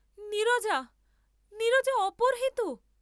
নীরজা, নীরজা অপহৃত?